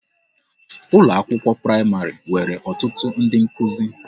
Ụlọ akwụkwọ praịmarị nwere ọtụtụ ndị nkuzi